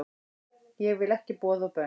Ég vil ekki boð og bönn